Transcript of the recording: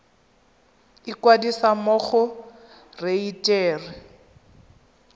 ikwadisa mo go kereite r